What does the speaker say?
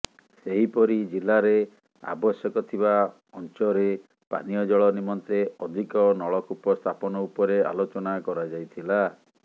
ସେହିପରି ଜିଲ୍ଲାରେ ଆବଶ୍ୟକଥିବା ଅଞ୍ଚରେ ପାନୀୟଜଳ ନିମନ୍ତେ ଅଧିକ ନଳକୂପ ସ୍ଥାପନ ଉପରେ ଆଲୋଚନା କରାଯାଇଥିଲା